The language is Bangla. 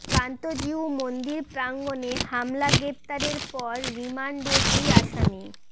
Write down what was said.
কান্তজিউ মন্দির প্রাঙ্গণে হামলা গ্রেপ্তারের পর রিমান্ডে দুই আসামি